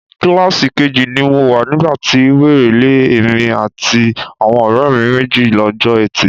Kíláàsì keji ni mo wà nígbà ti wèrè lé èmi àti àwọn ọ̀rẹ́ mi méjì lọ́jọ́ Ẹtì.